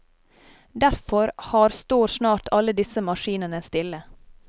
Derfor har står snart alle disse maskinene stille.